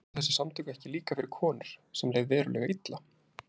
Voru þessi samtök ekki líka fyrir konur sem leið verulega illa?